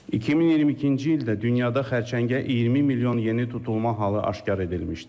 2022-ci ildə dünyada xərçəngə 20 milyon yeni tutulma halı aşkar edilmişdir.